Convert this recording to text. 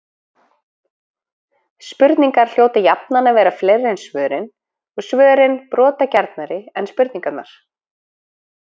Spurningar hljóta jafnan að vera fleiri en svörin, og svörin brotgjarnari en spurningarnar.